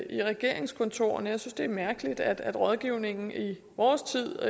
i regeringskontorerne jeg synes det er mærkeligt at rådgivningen i vores tid